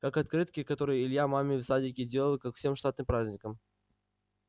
как открытки которые илья маме в садике делал ко всем штатным праздникам